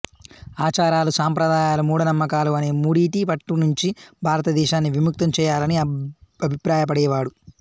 ఆచారాలు సంప్రదాయాలు మూఢనమ్మకాలు అనే మూడిటి పట్టు నుంచి భారతదేశాన్ని విముక్తం చేయాలని అభిప్రాయపడేవాడు